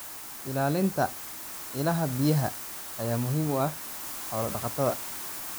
Ilaalinta ilaha biyaha ayaa muhiim u ah xoolo-dhaqatada.